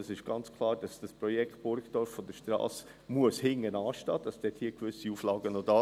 Es ist ganz klar, dass das Strassenprojekt Burgdorf hintanstehen muss, dass es noch gewisse Auflagen gibt.